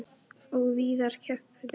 Og víðar kreppti að.